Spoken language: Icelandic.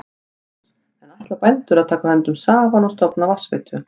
Magnús: En ætla bændur að taka höndum saman og stofna vatnsveitu?